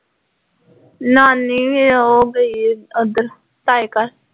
ਨਾਨੀ ਉਹ ਗਈ ਉੱਧਰ ਤਾਏ ਘਰ